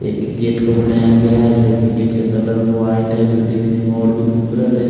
एक गेट का बनाया गया है जो की गेट का कलर वाइट है जो देखने में और भी खुबसूरत है।